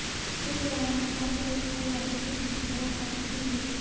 इस दौरान नेपाल पुलिस और यादव के बीच बहसबाजी भी हुई